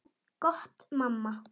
Gott mamma.